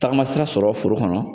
Tagama sira sɔrɔ foro kɔnɔ